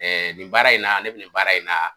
nin baara in na ne be nin baara in na